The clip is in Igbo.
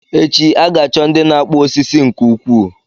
Echi, a ga-achọ ndị na-akpụ osisi nke ukwuu